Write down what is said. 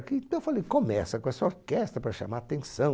Aqui, então, eu falei, começa com essa orquestra para chamar a atenção.